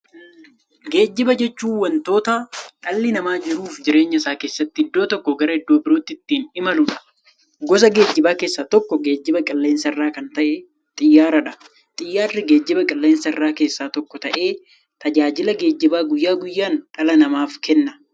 Geejjiba jechuun wanta dhalli namaa jiruuf jireenya isaa keessatti iddoo tokkoo gara iddoo birootti ittiin imaluudha. Gosa geejjibaa keessaa tokko geejjiba qilleensarraa kan ta'e Xiyyaaradha. Xiyyaarri geejjibaa qilleensarraa keessaa tokko ta'ee, tajaajila geejjibaa guyyaa guyyaan dhala namaaf kenna.